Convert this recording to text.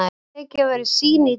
Tekin verða sýni í dag.